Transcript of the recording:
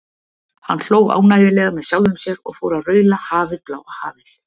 Hann hló ánægjulega með sjálfum sér og fór að raula Hafið, bláa hafið.